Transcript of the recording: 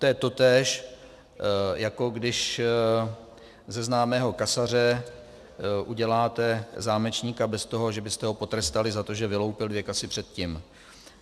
To je totéž, jako když ze známého kasaře uděláte zámečníka bez toho, že byste ho potrestali za to, že vyloupil dvě kasy předtím.